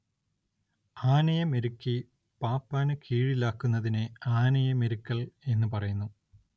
ആനയെ മെരുക്കി പാപ്പാന് കീഴിലാക്കുന്നതിനെ ആനയെ മെരുക്കൽ എന്നു പറയുന്നു.